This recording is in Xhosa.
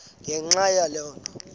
ngenxa yaloo nto